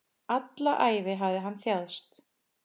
Alla ævi hafði hann þjáðst.